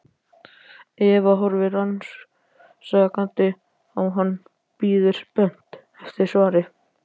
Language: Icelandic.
Eva horfir rannsakandi á hann, bíður spennt eftir svari.